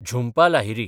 Jhumpa Lahiri